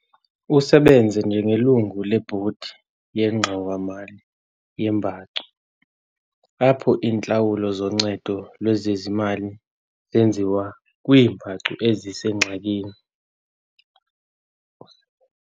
Usebenze njengelungu lebhodi yeNgxowa-mali yeembacu, apho iintlawulo zoncedo lwezezimali zenziwa kwiimbacu ezisengxakini.